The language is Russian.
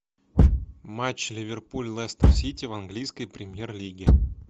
матч ливерпуль лестер сити в английской премьер лиге